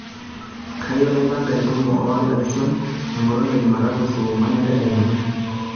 kayieu naipanga entumo o allison enkolong e jumatu saa onguan entedekenya